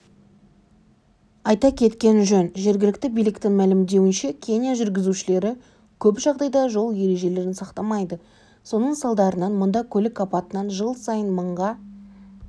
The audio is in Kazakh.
айта кеткен жөн жергілікті биліктің мәлімдеуінше кения жүргізушілері көп жағдайда жол ережелерін сақтамайды соның салдарынан мұнда көлік апатынан жыл сайын мыңға